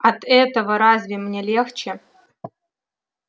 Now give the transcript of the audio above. от этого разве мне легче